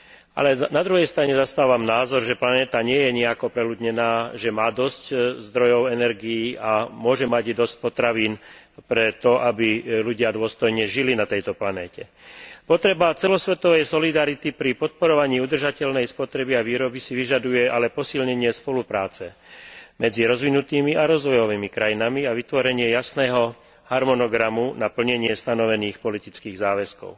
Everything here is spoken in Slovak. Ale na druhej strane zastávam názor, že planéta nie je nijako preľudnená, že má dosť zdrojov energií a môže mať i dosť potravín na to, aby ľudia na tejto planéte dôstojne žili. Potreba celosvetovej solidarity pri podporovaní udržateľnej spotreby a výroby si však vyžaduje posilnenie spolupráce medzi rozvinutými a rozvojovými krajinami a vytvorenie jasného harmonogramu na plnenie stanovených politických záväzkov.